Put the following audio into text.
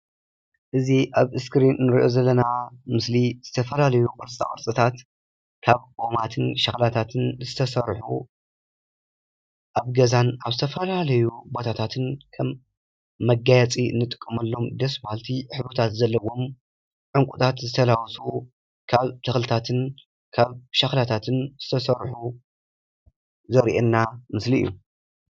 እዚ ኣብ እስክሪን ንሪኦ ዘለና ምስሊ ዝተፈላለዩ ቅርፃ ቅርፅታት ካብ ኦማትን ሸኽላታትን ዝተሰርሑ ኣብ ገዛን ኣብ ዝተፈላለዩ ቦታታትን ከም መጋየፂ እንጥቀመሎም ደስ በሃልቲ ሕብርታት ዘለዎም ዕንቁታት ዝተላበሱ ካብ ተኽልታትን ካብ ሸኽላታትን ዝተሰርሑ ዘሪኤና ምስሊ እዩ፡፡